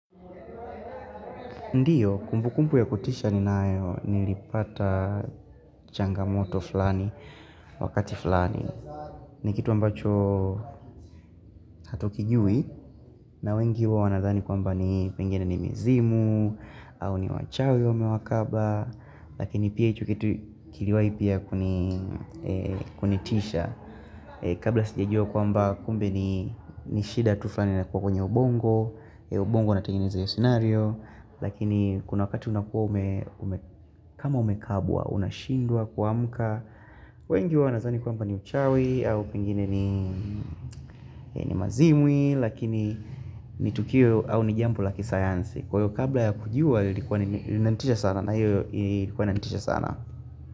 Ndiyo, kumbu kumbu ya kutisha ninayo nilipata changamoto fulani, wakati fulani. Ni kitu ambacho hatukijui, na wengi huwa wanadhani kwamba ni pengine ni mizimu, au ni wachawi wamekaba, lakini pia hicho kitu kiliwahi pia kunitisha. Kabla sijajua kwamba kumbe ni shida tu fulani linakuwa kwenye ubongo, ubongo unatengeneza hiyo scenario Lakini kuna wakati unakuwa kama umekabwa unashindwa kuamka. Wengi huwa wanadhani kwamba ni uchawi au pengine ni mazimwi. Lakini ni tukio au ni jambo la kisayansi. Kwa hivyo kabla ya kujua lilikuwa linanitisha sana na hiyo ilikuwa inanitisha sana.